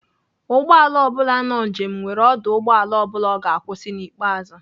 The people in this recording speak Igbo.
Ụgbọala ọ bula nọ njem nwere ọdụ ụgbọala ọ bụla ọ ga-akwụsị n'ikpeazụ.